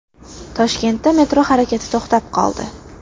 Toshkentda metro harakati to‘xtab qoldi.